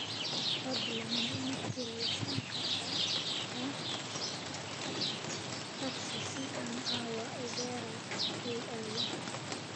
fadlan ma ii kiraysan kartaa taksi si aan caawa opera u aado